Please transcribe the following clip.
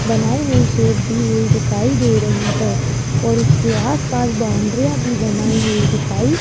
बनाई हुई शेप दी हुई दिखाई दे रही है और उसके आस पास बाउंड्रीयां भी बनाई हुई दिखाई --